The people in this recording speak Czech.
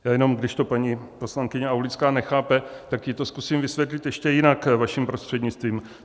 Já jenom, když to paní poslankyně Aulická nechápe, tak jí to zkusím vysvětlit ještě jinak, vaším prostřednictvím.